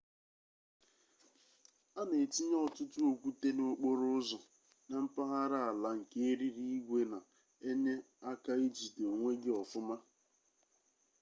a na-etinye ọtụtụ okwute n'okporo ụzọ na mpaghara ala nke eriri igwe na enye aka ijide onwe gi ofuma